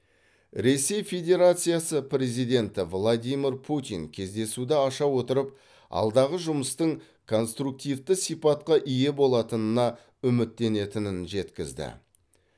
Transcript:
ресей федерациясы президенті владимир путин кездесуді аша отырып алдағы жұмыстың конструктивті сипатқа ие болатынына үміттенетінін жеткізді